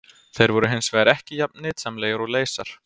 Þeir voru hins vegar ekki jafn nytsamlegir og leysar.